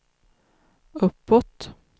uppåt